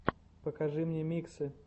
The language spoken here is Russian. покажи мне миксы